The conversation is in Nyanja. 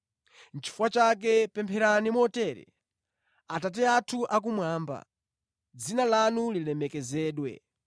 “Chifukwa chake pempherani motere: “ ‘Atate athu akumwamba, dzina lanu lilemekezedwe,